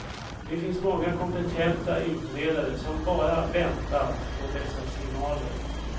Det finns många kompetenta utredare som bara väntat på dessa signaler.